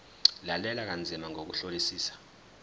lalela kanzima ngokuhlolisisa